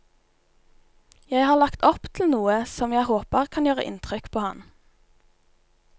Jeg har lagt opp til noe som jeg håper kan gjøre inntrykk på han.